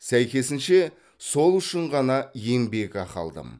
сәйкесінше сол үшін ғана еңбекақы алдым